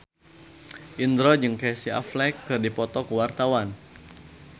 Indro jeung Casey Affleck keur dipoto ku wartawan